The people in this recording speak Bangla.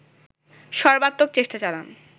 সর্বাত্মক চেষ্টা চালান